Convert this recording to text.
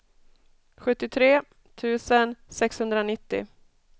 sjuttiotre tusen sexhundranittio